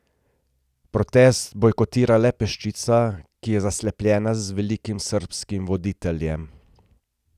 Protest bojkotira le peščica, ki je zaslepljena z velikim srbskim voditeljem.